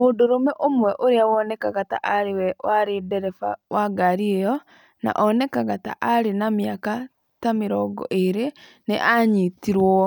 Mũndũrũme ũmwe ũrĩa wonekaga ta arĩ we warĩ ndereba wa ngari ĩyo, na onekaga ta arĩ na mĩaka ta 20 ,nĩ aanyitirũo.